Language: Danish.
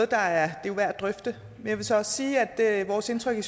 der er værd at drøfte jeg vil så også sige at vores indtryk i